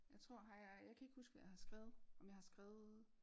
Jeg tror har jeg jeg kan ikke huske hvad jeg har skrevet om jeg har skrevet